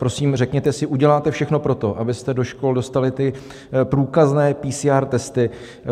Prosím, řekněte si, uděláte všechno pro to, abyste do škol dostali ty průkazné PCR testy?